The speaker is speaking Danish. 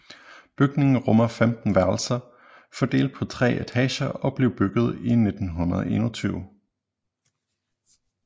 Bygningen rummer 15 værelser fordelt på tre etager og blev bygget i 1921